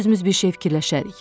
Özümüz bir şey fikirləşərik.